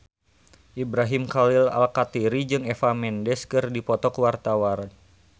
Ibrahim Khalil Alkatiri jeung Eva Mendes keur dipoto ku wartawan